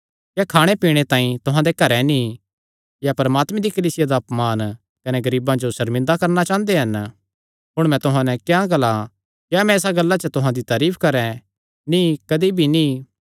क्या खाणे पीणे तांई तुहां दे घरे नीं या परमात्मे दी कलीसिया दा अपमान कने गरीबां जो सर्मिंदा करणा चांह़दे हन हुण मैं तुहां नैं क्या ग्लां क्या मैं इसा गल्ला च तुहां दी तारीफ करैं नीं कदी भी नीं